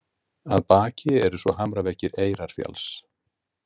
Að baki eru svo hamraveggir Eyrarfjalls.